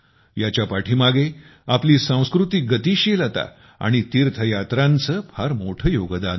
याच्या पाठीमागे आपली सांस्कृतिक गतिशीलता आणि तीर्थयात्रांचे फार मोठे योगदान आहे